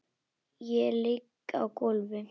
Ég ligg á gólfi.